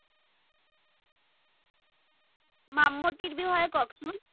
মামতিৰ বিষয়ে কওকচোন